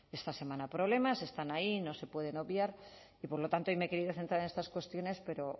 esta semana problemas están ahí y no se pueden obviar y por lo tanto hoy me he querido centrar en estas cuestiones pero